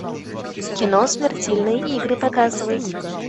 кино смертельные игры показывай